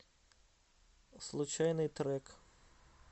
случайный трек